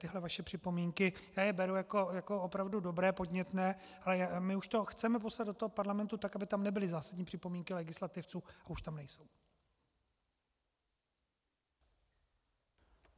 Tyto vaše připomínky, já je beru jako opravdu dobré, podnětné, ale my už to chceme poslat do toho parlamentu tak, aby tam nebyly zásadní připomínky legislativců, a už tam nejsou.